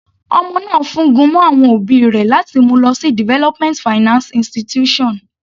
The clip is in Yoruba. Ọmọ náà fún gun mọ́ àwọn òbí rẹ̀ láti mú u lọ sí development finance institution.